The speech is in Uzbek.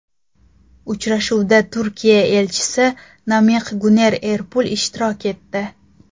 Uchrashuvda Turkiya Elchisi Namiq Guner Erpul ishtirok etdi.